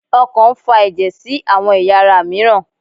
okàn n fa eje sí awọn eyá ará miiran